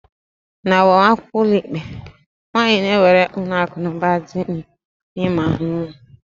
N'agbamakwụkwọ ụlọikpe, nwaanyi na-ewere akụnụba dị ya niile ma ọ nwụọ.